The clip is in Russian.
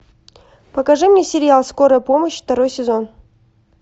покажи мне сериал скорая помощь второй сезон